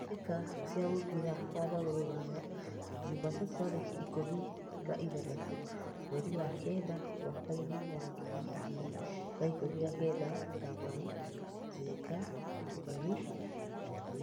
Mbĩtĩka cia mũbira wa magũrũ Ruraya Jumatatu tarĩki ikũmi na ithathatũ mweri wa kenda mwakainĩ wa ngiri igĩrĩ na ikũmi na kenda: Kamau, Njenga, Muthoni, Wambui.